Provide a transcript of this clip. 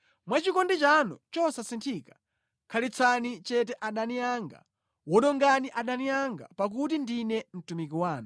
Mwa chikondi chanu chosasinthika khalitsani chete adani anga; wonongani adani anga, pakuti ndine mtumiki wanu.